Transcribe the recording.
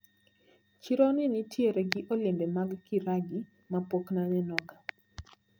Chironi nitiere gi olembe mag kiragi mapok nanenoga.